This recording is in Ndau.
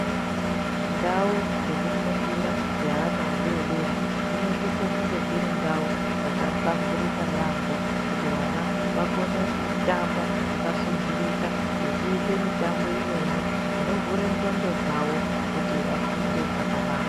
Ndau dzekufundira dzevana vadodori dzinosisa kunge dziri ndau dzakahlamburika yambo kuti vana vakone kutamba pakasundirika vachiita mutambo umweni unofura ndxondo dzavo kuti vafunde zvakanaka.